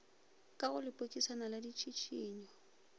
ka go lepokisana la ditšhišinyo